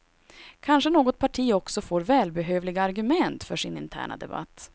Kanske något parti också får välbehövliga argument för sin interna debatt.